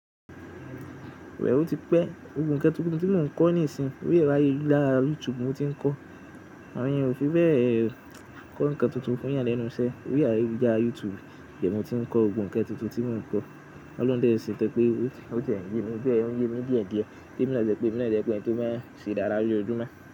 Bé ò ti pẹ́, gbogbo ǹkan tí mò ń kọ́ níìsín, orí ààyèlulara YouTube mo ti ń kọ́. Àwọn èèyàn ò fi bẹ́ẹ̀ kọ́ ǹkan tuntun fún ìyàlẹ́nu iṣẹ́, orí ààyè lujsra YouTube baẹni mo ti ń kọ gbogbo ǹkan tuntun tí mò ń kọ́. Òlohún si seun to pé ó ti yẹ́mi, òun yemi diẹ die. Kí èmi má jẹ́ pé èmi má jẹ́ pé ẹni tó máa ń ṣe dáradára lójoojúmọ́